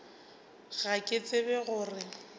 ga ke tsebe go re